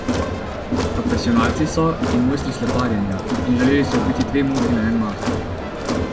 Profesionalci so in mojstri sleparjenja in želeli so ubiti dve muhi na en mah.